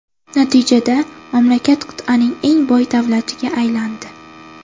Natijada, mamlakat qit’aning eng boy davlatiga aylandi .